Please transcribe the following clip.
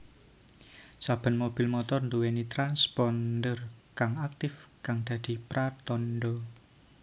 Saben mobil motor nduwèni transponder kang aktif kang dadi pratandha